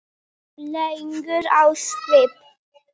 legur á svip.